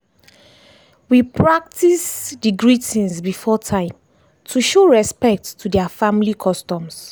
we practices dey greetings before time to show respect to their family customs.